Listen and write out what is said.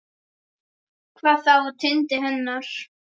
Hvað þá á tindi hennar.